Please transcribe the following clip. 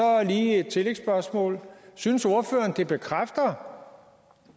jeg lige et tillægsspørgsmål synes ordføreren det bekræfter